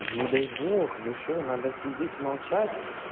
не дай бог вы что надо сидеть молчать